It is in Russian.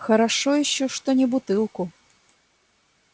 хорошо ещё что не бутылку